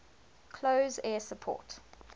close air support